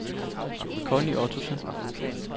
Connie Ottosen